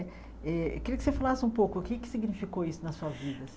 É eu queria que você falasse um pouco o que significou isso na sua vida.